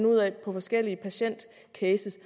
ud fra forskellige patientcases